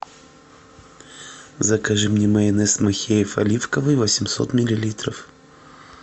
закажи мне майонез махеев оливковый восемьсот миллилитров